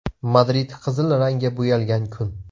Madrid qizil rangga bo‘yalgan kun.